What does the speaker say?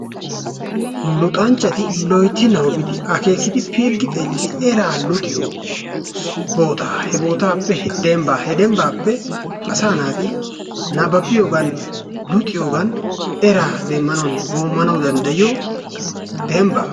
Luxanchchatti loytti nababbidi akekidi piliggi xeelidi eraa luxiyoo bootaa he bootaappe dembba he dembaappe asaa naati nababiyoggan luxiyoogan eraa demanawunne woomanawu dandayiyo dembba.